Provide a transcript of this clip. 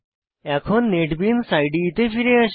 এখন নেটবিনস ইদে এ ফিরে আসি